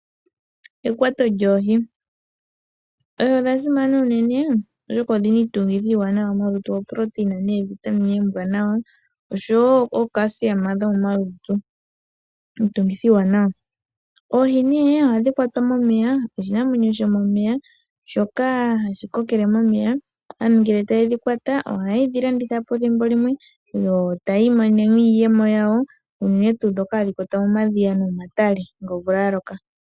Ekwato lyoohi Oohi odha simana unene, oshoka odhi na iitungithilutu iiwanwa ngaashi oproteina noovitamine oombwaanawa noshowo iimongwa yomomalutu. Oohi ohadhi kwatwa momeya. Ohi oshinamwenyo shomomeya, shoka hashi kokele momeya. Aantu ngele ye dhi kwata, ethimbo limwe ohaye dhi landitha po yo taya imonene iiyemo, unene tuu ndhoka hadhi kwatwa momadhiya nomomatale ngele omvula ya loka.